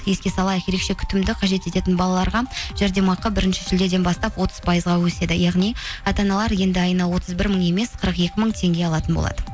еске салайық ерекше күтімді қажет ететін балаларға жәрдемақы бірінші шілдеден бастап отыз пайызға өседі яғни ата аналар енді айна отыз бір мың емес қырық екі мың теңге алатын болады